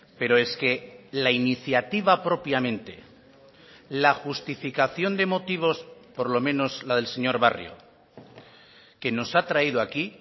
pero es que la iniciativa propiamente la justificación de motivos por lo menos la del señor barrio que nos ha traído aquí